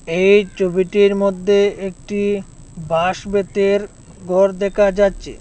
এই চবিটির মধ্যে একটি বাঁশ বেতের ঘর দেকা যাচ্চে।